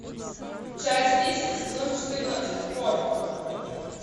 часть десять сезон четырнадцать хор